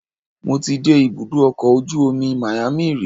Mo ti dé ibùdó ọkọ̀ ojú omi Miami rí